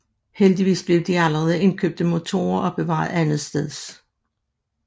Heldigvis blev de allerede indkøbte motorer opbevaret andetsteds